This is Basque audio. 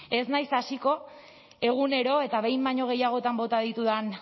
ez naiz hasiko egunero eta behin baino gehiagotan bota ditudan